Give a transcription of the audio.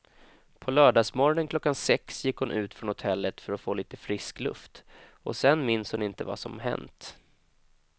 På lördagsmorgonen klockan sex gick hon ut från hotellet för att få lite frisk luft och sen minns hon inte vad som hänt.